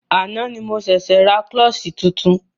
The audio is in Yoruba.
Àná ni mo ṣẹ̀ṣė ra klọ́ṣí tuntun.